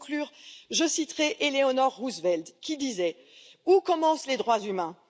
Pour conclure, je citerai Éléonore Roosevelt qui disait Où commencent les droits humains?